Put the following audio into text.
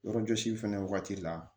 Yɔrɔjɔsi fɛnɛ wagati la